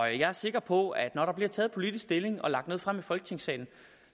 jeg er sikker på at det når der bliver taget politisk stilling og lagt noget frem i folketingssalen